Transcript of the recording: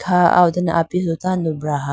kha aw dane apisu tando braha.